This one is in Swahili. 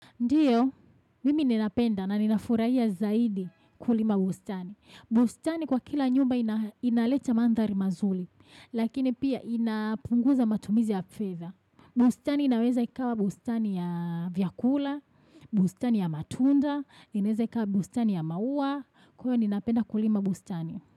Ndiyo, mimi ninapenda na ninafurahia zaidi kulima bustani. Bustani kwa kila nyumba inaleta mandhari mazuli, lakini pia inapunguza matumizi ya feather. Bustani inaweza ikawa bustani ya vyakula, bustani ya matunda, inaweza ikawa bustani ya maua. Huwa ninapenda kulima bustani.